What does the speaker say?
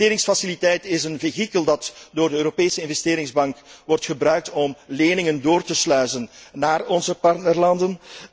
De investeringsfaciliteit is een vehikel dat door de Europese Investeringsbank wordt gebruikt om leningen door te sluizen naar onze partnerlanden.